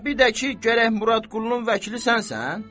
Və bir də ki, gərək Murad Qullunun vəkili sənsən?